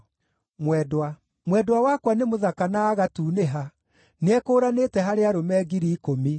Mwendwa wakwa nĩ mũthaka na agatunĩha, nĩekũũranĩte harĩ arũme ngiri ikũmi.